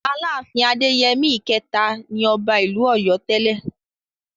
Aláàfin Adéyẹmí ìkẹta ni ọba ìlú Ọ̀yọ́ tẹ́lẹ̀.